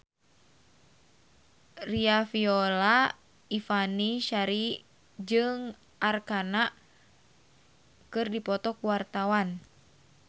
Riafinola Ifani Sari jeung Arkarna keur dipoto ku wartawan